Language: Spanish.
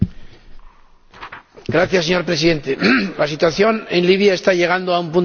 Señor Presidente, la situación en Libia está llegando a un punto de no retorno.